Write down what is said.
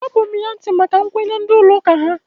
Agbapughi ya ntị maka nkwenye ndị ụlọ ụka ha.